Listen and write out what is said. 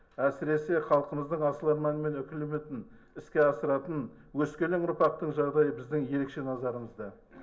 әсіресе халқымыздың асыл арманы мен үкілі үмітін іске асыратын өскелең ұрпақтың жағдайы біздің ерекше назарымызда